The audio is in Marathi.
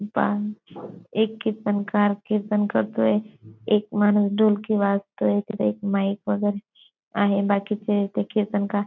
बांध एक कीर्तनकार कीर्तन करतोय एक माणूस ढोलकी वाजतोय तिथे एक माईक वगैरे आहे बाकीचे ते कीर्तनकार--